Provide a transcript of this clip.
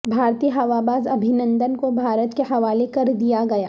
بھارتی ہواباز ابھی نندن کوبھارت کے حوالے کردیا گیا